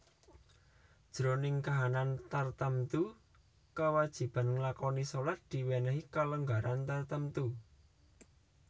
Jroning kahanan tartamtu kawajiban nglakoni shalat diwènèhi kalonggaran tartamtu